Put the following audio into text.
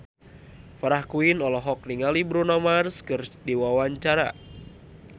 Farah Quinn olohok ningali Bruno Mars keur diwawancara